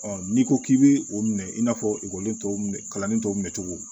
n'i ko k'i bɛ o minɛ i n'a fɔ ekɔliden tɔw kalanni tɔw minɛ cogo